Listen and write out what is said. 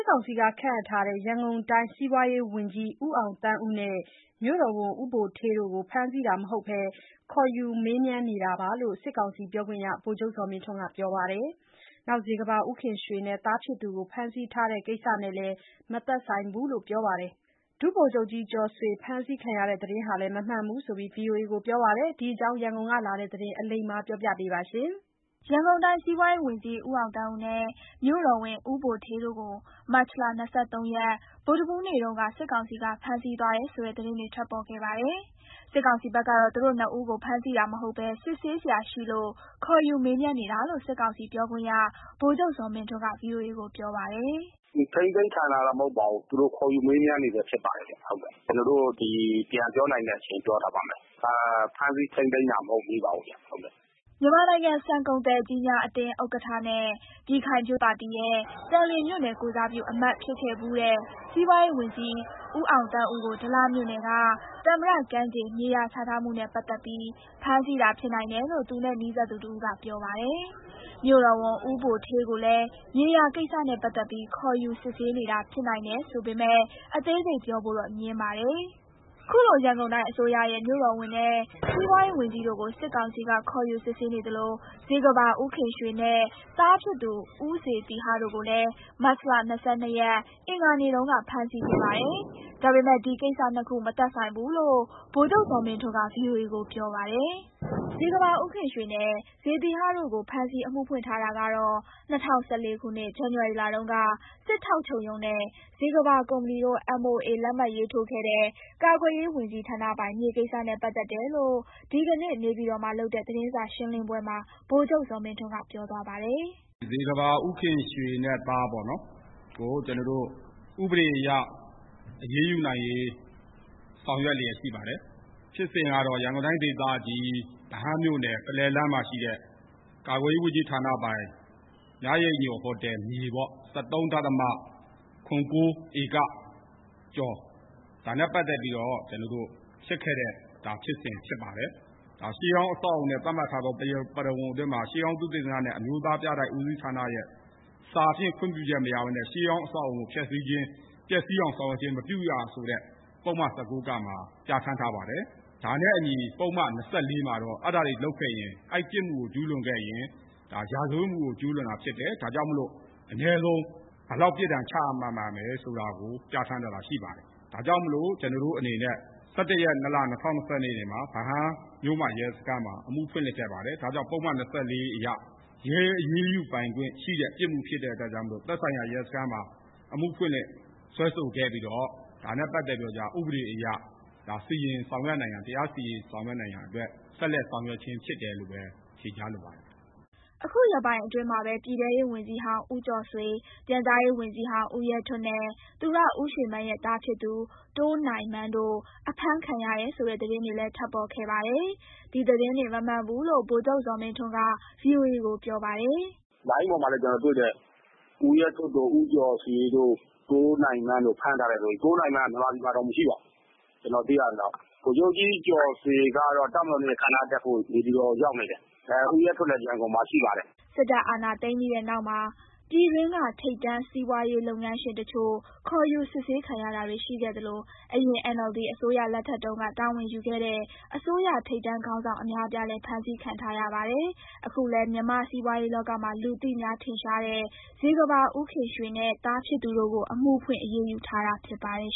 ောင်စီခန့်ထားတဲ့ ရန်ကုန်တိုင်း စီးပွားရေးဝန်ကြီး ဦးအောင်သန်းဦးနဲ့ မြို့တော်ဝန် ဦးဗိုလ်ဌေးတို့ကို ဖမ်းဆီးတာမဟုတ်ဘဲ ခေါ်ယူမေးမြန်းနေတာ ဖြစ်တယ်လို့ စစ်ကောင်စီပြောခွင့်ရ ဗိုလ်ချုပ်ဇော်မင်းထွန်းက ပြောပါတယ်။ ဇေကမ္ဘာ ဦးခင်ရွှေနဲ့သားဖြစ်သူတို့ကို ဖမ်းဆီးထားတဲ့ကိစ္စနဲ့ မသက်ဆိုင်ဘူးလို့လည်း ပြောပါတယ်။ ဒုဗိုလ်ချုပ်ကြီးကျော်ဆွေ ဖမ်းဆီးခံရတဲ့သတင်းဟာလည်း မမှန်ဘူးလို့ ဗွီအိုအေ ကိုပြောပါတယ်။ ဒီအကြောင်း ရန်ကုန်ကလာတဲ့သတင်းကို အလိမ္မာက တင်ပြပေးထားပါတယ်။ ရန်ကုန်တိုင်း စီးပွားရေးဝန်ကြီး ဦးအောင်သန်းဦးနဲ့ မြို့တော်ဝန် ဦးဗိုလ်ဌေးတို့ကို မတ်လ ၂၃ ရက်၊ ဗုဒ္ဓဟူးနေ့တုန်းက စစ်ကောင်စီ က ဖမ်းဆီးသွားတယ် ဆိုတဲ့သတင်းတွေ ထွက်ပေါ်ခဲ့ပါတယ်။ စစ်ကောင်စီဘက်ကတော့ သူတို့နှစ်ဦးကို ဖမ်းဆီးတာမဟုတ်ဘဲ စစ်ဆေးစရာရှိလို့ ခေါ်ယူမေးမြန်းနေတာလို့ စစ်ကောင်စီပြောခွင့်ရ ဗိုလ်ချုပ်ဇော်မင်းထွန်းက ဗွီအိုအေကိုပြောပါတယ်။ "ထိန်းသိမ်းခံရတာတော့ မဟုတ်ပါဘူး။ သူတို့ ခေါ်ယူမေးမြန်းနေဆဲ ဖြစ်ပါတယ်ခင်ဗျ။ (ဘာကြောင့်ဖမ်းတယ်ဆိုတာ) ကျနော်တို့ ပြန်ပြောနိုင်တဲ့အချိန် ပြန်ပြောထားပါမယ်။ ဖမ်းဆီးထိန်းသိမ်းတာ မဟုတ်သေးပါဘူးဗျ။" မြန်မာနိုင်ငံ ဆန်ကုန်သည်ကြီးများအသင်းဥက္ကဋ္ဌနဲ့ ပြည်ခိုင်ဖြိုးပါတီရဲ့ သန်လျင်မြို့နယ်ကိုယ်စားပြု အမတ်ဖြစ်ခဲ့ဖူးတဲ့ စီးပွားရေး ဝန်ကြီး ဦးအောင်သန်းဦးကို ဒလမြို့နယ်က သမ္မတကမ်းခြေ မြေယာချထားမှုနဲ့ပတ်သက်ပြီး ဖမ်းဆီးတာဖြစ်နိုင်တယ်လို့ သူနဲ့ နီးစပ်သူတဦးက ပြောပါတယ်။ မြို့တော်ဝန် ဦးဗိုလ်ဌေးကိုလည်း မြေယာကိစ္စနဲ့ပတ်သက်ပြီး ခေါ်ယူစစ်ဆေးနေတာ ဖြစ်နိုင်တယ် ဆိုပေမယ့် အသေးစိတ်ပြောဖို့တော့ ငြင်းပါတယ်။ ခုလို ရန်ကုန်တိုင်းအစိုးရရဲ့ မြို့တော်ဝန်နဲ့ စီးပွားရေးဝန်ကြီးတို့ကို စစ်ကောင်စီက ခေါ်ယူစစ်ဆေးနေသလို ဇေကမ္ဘာ ဦးခင်ရွှေနဲ့သားဖြစ်သူ ဦးဇေသီဟတို့ကိုလည်း မတ်လ ၂၂ ရက်၊ အင်္ဂါနေ့တုန်းက ဖမ်းဆီးခဲ့ပါတယ်။ ဒါပေမဲ့ ဒီကိစ္စ နှစ်ခု မသက်ဆိုင်ဘူးလို့ ဗိုလ်ချုပ်ဇော်မင်းထွန်းက ဗွီအိုအေကိုပြောပါတယ်။ ဇေကမ္ဘာဦးခင်ရွှေနဲ့ ဇေသီဟတို့ကို ဖမ်းဆီး အမှုဖွင့်ထားတာကတော့ ၂၀၁၄ ခုနှစ် ဇန်နဝါရီလတုန်းက စစ်ထောက်ချုပ်ရုံးနဲ့ ဇေကမ္ဘာကုမ္ပဏီတို့ MOA လက်မှတ်ရေးထိုးခဲ့တဲ့ ကာကွယ်ရေးဝန်ကြီးဌာနပိုင် မြေကိစ္စနဲ့ ပတ်သက်တယ်လို့ ဒီကနေ့ နေပြည်တော်မှာလုပ်တဲ့ သတင်းစာရှင်းလင်းပွဲမှာ ဗိုလ်ချုပ်ဇော်မင်းထွန်းက ပြောသွားပါ တယ်။ "ဇေကမ္ဘာ ဦးခင်ရွှေနဲ့ သားကို ဥပဒေအရ အရေးယူနိုင်ရေး ဆောင်ရွက်လျက်ရှိပါတယ်။ ဖြစ်စဉ်ကတော့ ရန်ကုန်တိုင်းဒေသကြီး၊ ဗဟန်းမြို့နယ်၊ ပုလဲလမ်းမှာရှိတဲ့ ကာကွယ်ရေးဝန်ကြီး ဌာနပိုင် မြရိပ်ညိုဟိုတယ် မြေ ၁၃ ဒဿမ ၇၉ ဧက ကျော်၊ ဒါနဲ့ပတ်သက် ပြီးတော့ ဖြစ်ခဲ့တဲ့ဖြစ်စဉ်ဖြစ်ပါတယ်။ ရှေးဟောင်းအဆောက်အအုံနဲ့ သတ်မှတ်ထားသော ပရဝဏ်အတွင်းမှာ ရှေးဟောင်း သုတေသနနဲ့ အမျိုးသားပြတိုက်ဦးစီးဌာနရဲ့ စာဖြင့်ခွင့်ပြုချက်မရဘဲနဲ့ ရှေးဟောင်းအဆောက်အအုံကို ဖျက်စီးခြင်း၊ ပျက်စီးအောင် မပြုရဆိုတာ ပုဒ်မ ၁၉ (က) မှာ ပြဌာန်းထားပါတယ်။ ဒါနဲ့အညီ ပုဒ်မ ၂၄ မှာတော့ အဲဒါတွေလုပ်ခဲ့ရင် ပြစ်မှုကိုကျူးလွန်ခဲ့ရင် ရာဇဝတ်မှုကို ကျူးလွန်တာဖြစ်တယ်။ ဒါကြောင့်မို့လို့ အနည်းဆုံး ဘယ်လောက်ပြစ်ဒဏ် ချမှတ်ရမယ်ဆိုတာကို ပြဌာန်းထားတာ ရှိပါတယ်။ ဒါကြောင့်မို့လို့ ကျနော်တို့အနေနဲ့ ၁၁ ရက် ၂ လ ၂၀၂၂ မှာ ဗဟန်းမြို့မရဲစခန်းမှာ အမှုဖွင့်လှစ်ခဲ့ပါတယ်။ ဒါကြောင့် ပုဒ်မ ၂၄ အရ ရဲအရေးယူပိုင်ခွင့်ရှိတဲ့ပြစ်မှု ဖြစ်တဲ့အတွက်ကြောင့်မို့လို့ သက်ဆိုင်ရာရဲစခန်းမှာ အမှုဖွင့်လှစ်စွဲဆိုခဲ့ပြီးတော့ ဒါနဲ့ ပတ်သက်ပြီးတော့ကျ ဥပဒေအရ တရားစီရင် ဆောင်ရွက်နိုင်ရန်အတွက် ဆက်လက်ဆောင်ရွက်ခြင်း ဖြစ်တယ်လို့ပဲ ဖြေကြားလို ပါတယ်။" အခုရက်ပိုင်းအတွင်းမှာပဲ ပြည်ထဲရေးဝန်ကြီးဟောင်း ဦးကျော်ဆွေ၊ ပြန်ကြားရေးဝန်ကြီးဟောင်း ဦးရဲထွဋ်နဲ့ သူရဦးရွှေမန်းရဲ့ သားဖြစ်သူ တိုးနိုင်မန်းတို့ အဖမ်းခံရတယ်ဆိုတဲ့ သတင်းတွေလည်း ထွက်ပေါ်ခဲ့ပါတယ်။ ဒီသတင်းတွေ မမှန်ဘူးလို့ ဗိုလ်ချုပ် ဇော်မင်းထွန်းက ဗွီအိုအေကိုပြောပါတယ်။ "လိုင်းပေါ်မှာလည်း ကျနော်တွေ့တယ်။ ဦးရဲထွဋ်တို့၊ ဦးကျော်ဆွေတို့၊ တိုးနိုင်မန်းတို့ကို ဖမ်းထားတယ်ဆိုပြီး...။ တိုးနိုင်မန်းက မြန်မာပြည်မှာတောင် မရှိပါဘူး၊ ကျနော်သိရသလောက်။ ဗိုလ်ချုပ်ကြီးကျော်ဆွေကတော့ တပ်မတော်နေ့ အခမ်းအနားတက်ဖို့ နေပြည်တော်ကို ရောက်နေတယ်။ ဦးရဲထွဋ်လည်း ရန်ကုန်မှာရှိပါတယ်။" စစ်တပ်အာဏာသိမ်းပြီးတဲ့နောက်မှာ ပြည်တွင်းက ထိပ်တန်းစီးပွားရေး လုပ်ငန်းရှင်တချို့ ခေါ်ယူစစ်ဆေးခံရတာတွေ ရှိခဲ့သလို အရင် NLD အစိုးရလက်ထက်တုန်းက တာဝန်ယူခဲ့တဲ့ အစိုးရထိပ်တန်းခေါင်းဆောင် အများအပြားလည်း ဖမ်းဆီးခံထားရပါတယ်။ အခုလည်း မြန်မာ့စီးပွားရေးလောကမှာ လူသိများထင်ရှားတဲ့ ဇေကမ္ဘာ ဦးခင်ရွှေနဲ့ သားဖြစ်သူတို့ကို အမှုဖွင့်အရေးယူထားတာ ဖြစ်ပါတယ်